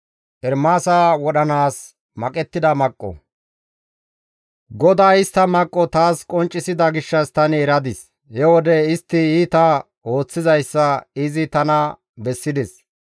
GODAY istta maqqo taas qonccisida gishshas tani eradis; he wode istti iita ooththizayssa izi tana bessides.